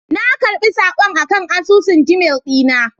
Na karɓi saƙon akan asusun Gmail dina